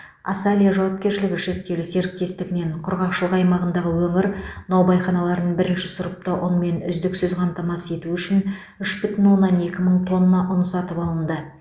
асалия жауапкершілігі шектеулі серіктестігінен құрғақшылық аймағындағы өңір наубайханаларын бірінші сұрыпты ұнмен үздіксіз қамтамасыз ету үшін үш бүтін оннан екі мың тонна ұн сатып алынды